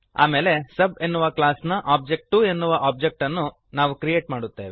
ಆಮೇಲೆ ಸಬ್ ಎನ್ನುವ ಕ್ಲಾಸ್ನ ಒಬಿಜೆ2 ಎನ್ನುವ ಓಬ್ಜೆಕ್ಟ್ ಅನ್ನು ನಾವು ಕ್ರಿಯೇಟ್ ಮಾಡುತ್ತೇವೆ